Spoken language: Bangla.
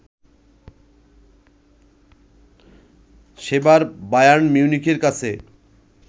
সেবার বায়ার্ন মিউনিখের কাছে